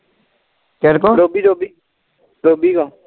ਕੀੜੇ ਕੋ ਰੋਬੀ ਕੌਣ